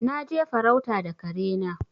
Na je farauta da kare na.